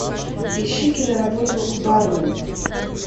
ищи киноработу бармен